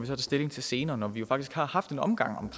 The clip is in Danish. tage stilling til senere når vi jo faktisk har haft en omgang